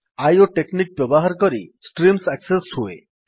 Iwo technique ବ୍ୟବହାର କରି streams access ହୁଏ